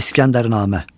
İskəndərnamə.